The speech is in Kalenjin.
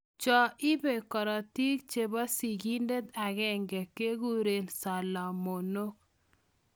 Choo ibee korotik chepoo sigindet agenge keguree salamonok.